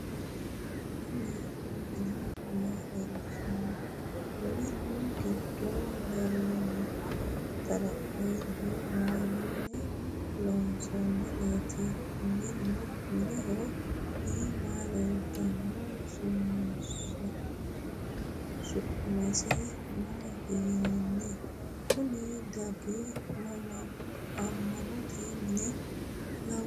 Kuni mini maa leellishanno? Minu giddo leeltanno xaraphezzuwa mayinni loonsoonnireeti? Minuho iimanni leeltannoti su'mase maati yinanni? Kuni dargi amaanaanote mine lawanno?